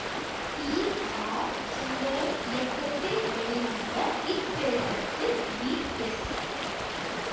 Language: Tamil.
டி ஆர் சுந்தரம் இயக்கத்தில் வெளிவந்த இத்திரைப்படத்தில் பி எஸ்